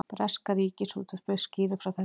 Breska ríkisútvarpið skýrir frá þessu